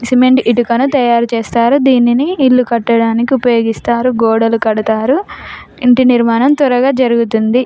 Cement ఈటుకను తాయారు చేస్తారు దీనిని ఇల్లు కట్టనికి ఉపయోగిస్తారు గోడలు కడతారు ఇంటి నిర్మాణం త్వరగా జరుగుతుంది.